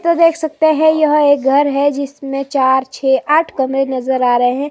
तो देख सकते हैं यह एक घर है जिसमें चार छे आठ कमरे नजर आ रहे हैं।